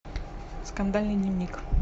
скандальный дневник